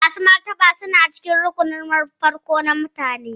Masu martaba suna cikin rukunun farko na mutane.